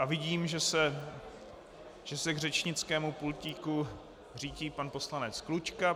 A vidím, že se k řečnickému pultíku řítí pan poslanec Klučka.